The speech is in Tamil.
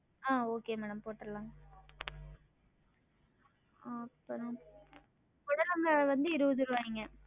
ஆஹ் okay madam போற்றலாங்க வந்து இருவது ருவாய்ங்க